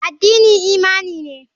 Addini imani ne.